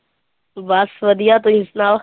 ਬਸ ਵਧੀਆ ਤੁਸੀਂ ਸੁਣਾਓ